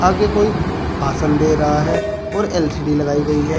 आगे कोई भाषण दे रहा है और एल_सी_डी लगाई गई है।